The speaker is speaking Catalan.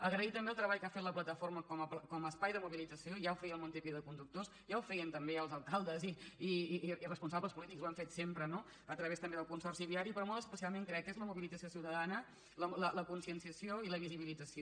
agrair també el treball que ha fet la plataforma com a espai de mobilització ja ho feia el montepío de con·ductors ja ho feien també els alcaldes i responsables polítics ho han fet sempre no a través també del consorci viari però molt especialment crec que és la mobilització ciutadana la conscienciació i la visibilit·zació